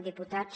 diputats